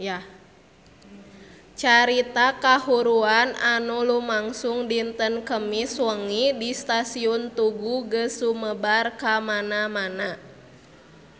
Carita kahuruan anu lumangsung dinten Kemis wengi di Stasiun Tugu geus sumebar kamana-mana